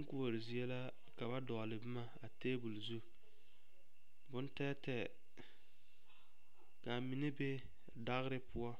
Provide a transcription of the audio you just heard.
Boŋ koɔre zie la ka ba dɔgle boma a tebol zu boŋ tɛɛtɛɛ ka a mine be dagre poɔ